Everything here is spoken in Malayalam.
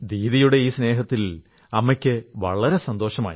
ദീദിയുടെ ഈ സ്നേഹത്തിൽ അമ്മയ്ക്കു വളരെ സന്തോഷമായി